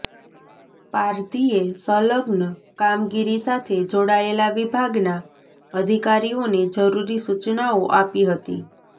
પારઘીએ સંલગ્ન કામગીરી સાથે જોડાયેલા વિભાગના અધિકારીઓને જરૂરી સૂચનાઓ આપી હતી